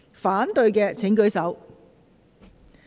反對的請舉手。